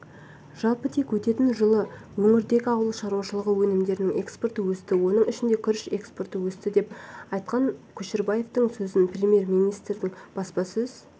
жалпы тек өткен жылы өңірдегі ауыл шаруашылығы өнімдерінің экспорты өсті оның ішінде күріш экспорты өсті деп айтқан көшербаевтың сөзін премьер-министрдің баспасөз